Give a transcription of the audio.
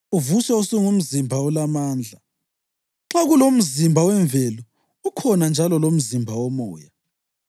uvuswe usungumzimba olamandla. Nxa kulomzimba wemvelo, ukhona njalo lomzimba womoya.